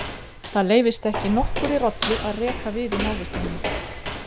Það leyfist ekki nokkurri rollu að reka við í návist minni.